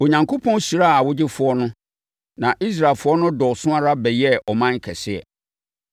Onyankopɔn hyiraa awogyefoɔ no. Na Israelfoɔ no dɔɔso ara bɛyɛɛ ɔman kɛseɛ.